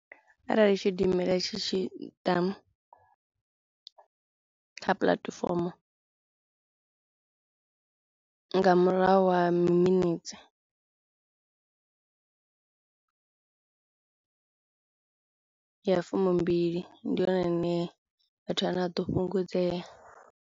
Arali tshidimela tshi tshi ḓa kha puḽatifomo nga murahu ha miminetse ya fumi mbili ndi hone hune vhathu vhane vha ḓo fhungudzea.